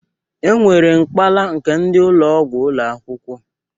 E nwere mpakala nke ndị ụlọgwụ ụlọakwụkwụ.